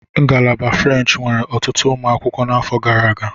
Ngalaba French nwere ọtụtụ ụmụ akwụkwọ n'afọ gara aga.